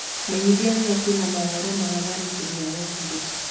menyithia rĩrĩa kwĩna mohoro ma tharĩkĩra ya westgate